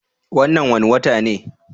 Wannan wane wata ne?